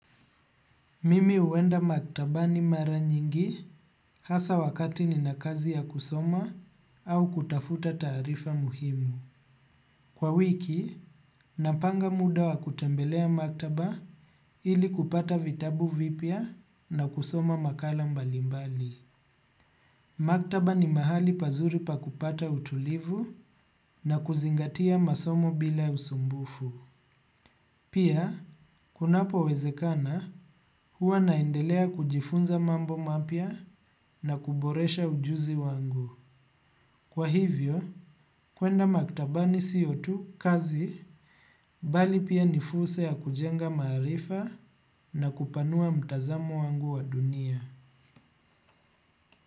Mimi huenda maktabani mara nyingi hasa wakati nina kazi ya kusoma au kutafuta taarifa muhimu. Kwa wiki, napanga muda wa kutembelea maktaba ili kupata vitabu vipya na kusoma makala mbalimbali. Maktaba ni mahali pazuri pa kupata utulivu na kuzingatia masomo bila usumbufu. Pia, kunapowezekana huwa naendelea kujifunza mambo mapya na kuboresha ujuzi wangu. Kwa hivyo, kwenda maktabani sio tu kazi bali pia ni furse ya kujenga maarifa na kupanua mtazamo wangu wa dunia.